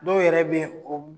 Dɔw yɛrɛ bɛ yen o